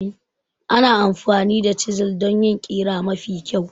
Ana amfani da chisels don yin ƙira mafi kyau.